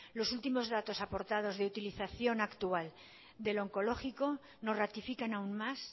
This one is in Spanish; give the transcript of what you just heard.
los últimos datos aportados de utilización actual del oncológico nos ratifican aún más